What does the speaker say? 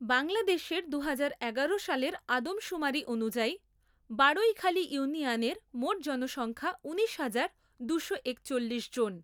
বাংলাদেশের দুহাজার এগারো সালের আদমশুমারী অনুযায়ী বাড়ৈখালী ইউনিয়নের মোট জনসংখ্যা ঊনিশ হাজার, দুশো, একচল্লিশ। জন।